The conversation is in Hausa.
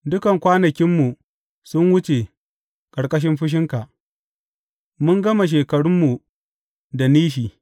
Dukan kwanakinmu sun wuce ƙarƙashin fushinka; mun gama shekarunmu da nishi.